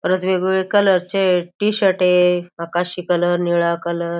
परत वेगवेगळ्या कलर चे टी-शर्ट ये आकाशी कलर निळा कलर --